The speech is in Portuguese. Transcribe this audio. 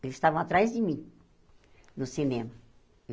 Eles estavam atrás de mim, no cinema.